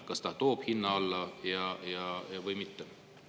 Kas see toob hinna alla või mitte?